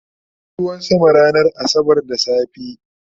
an Yi ruwan sama ranar asabar da safe